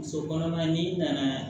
Muso kɔnɔma n'i nana